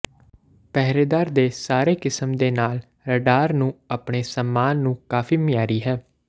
ਪਹਿਰੇਦਾਰ ਦੇ ਸਾਰੇ ਕਿਸਮ ਦੇ ਨਾਲ ਰਾਡਾਰ ਨੂੰ ਆਪਣੇ ਸਾਮਾਨ ਨੂੰ ਕਾਫੀ ਮਿਆਰੀ ਹੈ